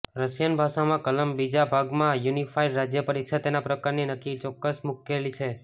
Russian ભાષામાં કલમ બીજા ભાગમાં યુનિફાઇડ રાજ્ય પરીક્ષા તેના પ્રકારની નક્કી ચોક્કસ મુશ્કેલી છે